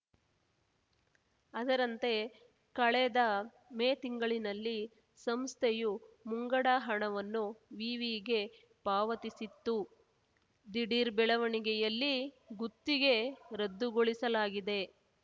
ಅದರಂತೆ ಕಳೆದ ಮೇ ತಿಂಗಳಿನಲ್ಲಿ ಸಂಸ್ಥೆಯು ಮುಂಗಡ ಹಣವನ್ನು ವಿವಿಗೆ ಪಾವತಿಸಿತ್ತು ದಿಢೀರ್‌ ಬೆಳವಣಿಗೆಯಲ್ಲಿ ಗುತ್ತಿಗೆ ರದ್ದುಗೊಳಿಸಲಾಗಿದೆ